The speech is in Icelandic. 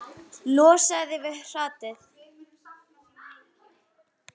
Losaðu þig við hratið.